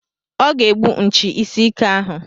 Ọ ga-egbu nchi isi ike ahụ.